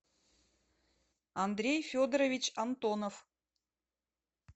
андрей федорович антонов